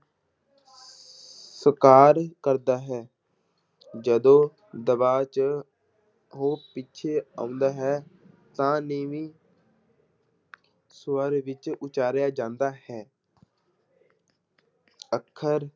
ਸਾਕਾਰ ਕਰਦਾ ਹੈ ਜਦੋਂ ਦਬਾਅ 'ਚ ਉਹ ਪਿੱਛੇ ਆਉਂਦਾ ਹੈ ਤਾਂ ਨੀਵੀਂ ਸਵਰ ਵਿੱਚ ਉਚਾਰਿਆ ਜਾਂਦਾ ਹੈ ਅੱਖਰ